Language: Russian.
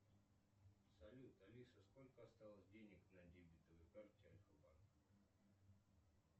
салют алиса сколько осталось денег на дебетовой карте альфа банка